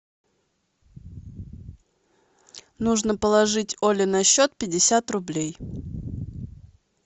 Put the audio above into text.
нужно положить оле на счет пятьдесят рублей